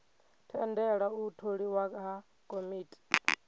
tendela u tholiwa ha komiti